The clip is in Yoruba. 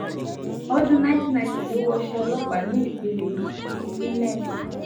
ọdún nineteen ninety ló wọṣẹ́ ọlọ́pàá ní ìpele linet